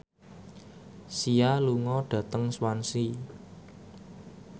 Sia lunga dhateng Swansea